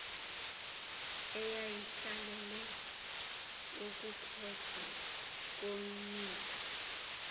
eyayihlalele ukukhethwa komniki